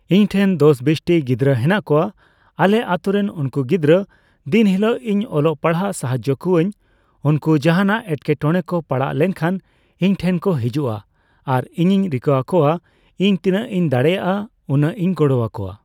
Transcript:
ᱤᱧ ᱴᱷᱮᱱ ᱫᱚᱥ ᱵᱤᱥᱴᱤ ᱜᱤᱫᱽᱨᱟᱹ ᱦᱮᱱᱟᱜ ᱠᱚᱣᱟ ᱟᱞᱮ ᱟᱛᱳ ᱨᱮᱱ ᱩᱱᱠᱩ ᱜᱤᱫᱽᱲᱨᱟᱹ ᱫᱤᱱ ᱦᱤᱞᱳᱜ ᱤᱧ ᱚᱞᱚᱜ ᱯᱟᱲᱦᱟᱜ ᱥᱟᱦᱟᱡᱽᱡᱳ ᱠᱚᱣᱟᱹᱧ ᱩᱱᱠᱩ ᱡᱟᱦᱟᱸᱱᱟᱜ ᱮᱴᱠᱮ ᱴᱚᱬᱮ ᱠᱚ ᱯᱟᱲᱟᱣ ᱞᱮᱱᱠᱷᱟᱱ ᱤᱧ ᱴᱷᱮᱱ ᱠᱚ ᱦᱤᱡᱩᱜᱼᱟ ᱾ᱟᱨ ᱤᱧᱤᱧ ᱨᱤᱠᱟᱹ ᱟᱠᱚᱣᱟ ᱤᱧ ᱛᱤᱱᱟᱹᱜ ᱤᱧ ᱫᱟᱲᱮᱭᱟᱜᱼᱟ ᱩᱱᱟᱹᱜ ᱤᱧ ᱜᱚᱲᱚᱟᱠᱚᱣᱟ ᱾